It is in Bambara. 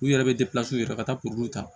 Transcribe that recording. U yɛrɛ be yɛrɛ ka taa kuru ta